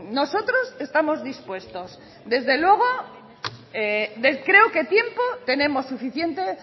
nosotros estamos dispuestos desde luego creo que tiempo tenemos suficiente